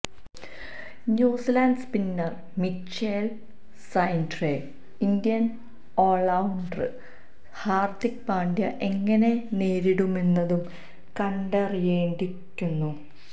New Zealand spinner Mitchell സാന്റ്നറെ Indian all rounder Hardik Pandya എങ്ങനെ നേരിടുമെന്നതും കണ്ടറിയേണ്ടിയിരിക്കുന്നു